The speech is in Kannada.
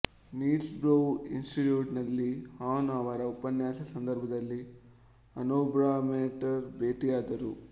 ನೀಲ್ಸ್ ಬೋಹ್ರ್ ಇನ್ಸ್ಟಿಟ್ಯೂಟ್ ನಲ್ಲಿ ಹಾನ್ ಅವರ ಉಪನ್ಯಾಸದ ಸಂಧರ್ಭದಲ್ಲಿ ಹಾನ್ಬೋಹ್ರಮೇಟ್ನರ್ ಬೇಟಿಯಾದರು